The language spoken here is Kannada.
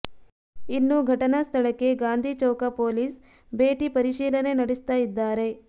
ಇನ್ನು ಘಟನಾ ಸ್ಥಳಕ್ಕೆ ಗಾಂಧಿ ಚೌಕ ಪೊಲೀಸ್ ಭೇಟಿ ಪರಿಶೀಲನೆ ನಡೆಸ್ತಾ ಇದ್ದಾರೆ